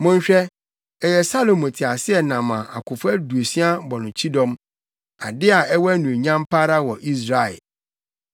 Monhwɛ, ɛyɛ Salomo teaseɛnam a akofo aduosia bɔ no kyidɔm; ade a ɛwɔ anuonyam pa ara wɔ Israel,